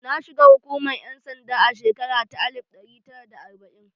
Na shiga hukumar ƴan sanda a shekara ta alif ɗari tara da arbai'in